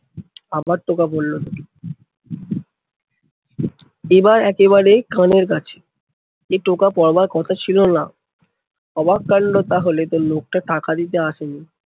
আবার টোকা পরলো দুটি। এবার একেবারে কাছে এ টোকা পড়বার কথা ছিলোনা। অবাক কান্ড তাহলে তো লোকটা টাকা দিতে আসেনি।